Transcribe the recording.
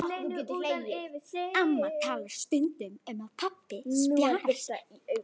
Amma talar stundum um að pabbi spjari sig ekki.